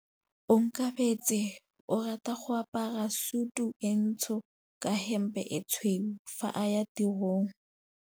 Onkabetse o rata go apara sutu e ntsho ka hempe e tshweu fa a ya tirong.